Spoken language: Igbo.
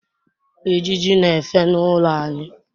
ijiji n'efe n’ụlọ anyị